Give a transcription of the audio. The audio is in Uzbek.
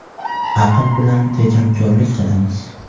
Aql bilan tejamkorlik qilamiz.